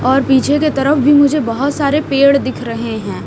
और पीछे के तरफ भी मुझे बहोत सारे पेड़ दिख रहे हैं।